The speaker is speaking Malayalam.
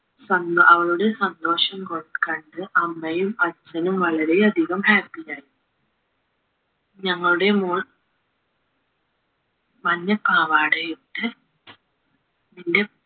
സന്തോ അവളുടെ സന്തോഷം കൊ കണ്ട് അമ്മയും അച്ഛനും വളരെയധികം happy ആയി ഞങ്ങളുടെ മോൾ മഞ്ഞപ്പാവാടയിട്ട്